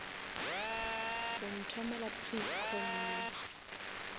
o nthomela please call me